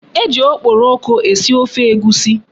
E ji okporoko esi ofe Egwusi.